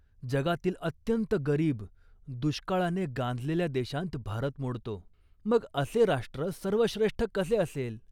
जगातील अत्यंत गरीब, दुष्काळाने गांजलेल्या देशांत भारत मोडतो. मग असे राष्ट्र सर्वश्रेष्ठ कसे असेल